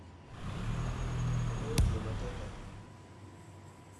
Ong'eyo tiyo matek ahinya.